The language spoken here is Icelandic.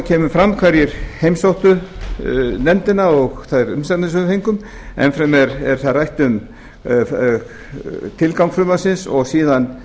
kemur fram hverjir heimsóttu nefndin og þær umsagnir sem við fengum enn fremur er þar rætt um tilgang frumvarpsins og síðan